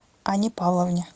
анне павловне